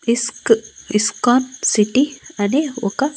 ఇస్క్ ISKCON city అని ఒక--